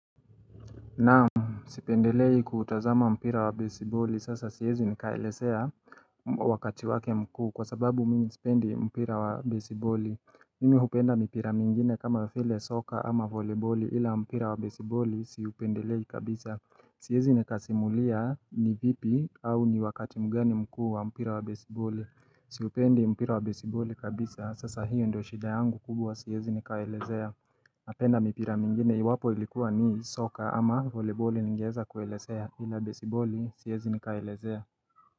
Naam, sipendelei kutazama mpira wa besiboli, sasa siezi nikaelesea wakati wake mkuu kwa sababu mimi sipendi mpira wa besiboli mimi hupenda mpira mingine kama vile soka ama volebole ila mpira wa besiboli siupendelei kabisa Siezi nika simulia ni vipi au ni wakati mgani mkuu wa mpira wa besiboli Siupendi mpira wa besiboli kabisa, sasa hiyo ndo shida yangu kubwa, siezi nikaelezea napenda mipira mingine i wapo ilikuwa ni soccer ama volebori ningeeza kuelesea ila baseball siyezi nikaelezea.